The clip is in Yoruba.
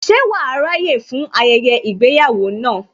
Ṣe wàá ráyè fún ayẹyẹ ìgbéyàwó náà